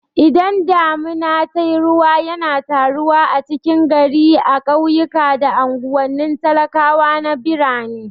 Idan damuna tayi ruwa yana taruwa a cikin gari a ƙauyuka da anguwanin talakawa na birane